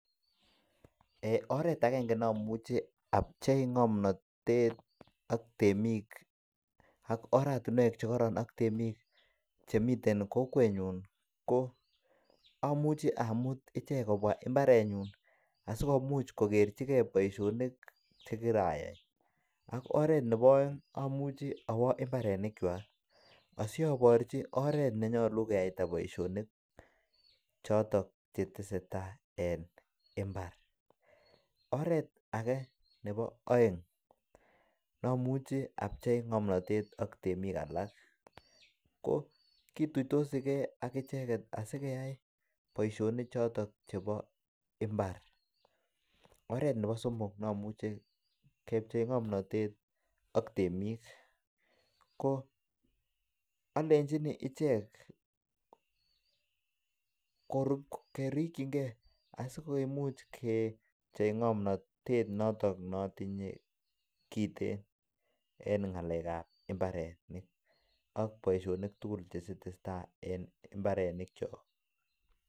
Eiy oret agenge ne amuche apchei ng'omnatet ak temik akoratinwek che koron ak temik chemiten kokwenyun koamuchi amut ichek kobwa mbarenyun asikomuch kogerchige bosionik che kirayai ak oret nebooeng amuchi awo mbaranikwak asi aborchi oret nenyolu keyaita boisionik choton che tesetai en mbar. Oret age nebo oeng nomuchi apchei ng'omnatet ak temik alak ko kituitosi ge ak icheget asikeyai boisionik choton chebo imbar. Oret nebo somok nomuche kepchei ng'omnatet ak temik ko alenjini ichek kerikyinge asikimuch ke pchei ng'omnatet noton ne otinye kiten en ng'alek ab mbarenik ak boisionik tugul che testetai en mbaronikyok.